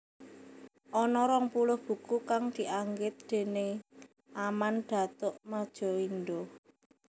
Ana rong puluh buku kang dianggit déning Aman Datuk Madjoindo